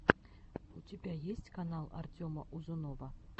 у тебя есть канал артема узунова